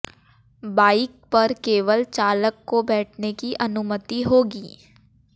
bike पर केवल चालक को बैठने की अनुमति होगी